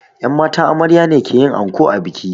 Yan matan amarya ne ke yin anko a biki